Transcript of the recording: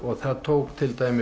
það tók til dæmis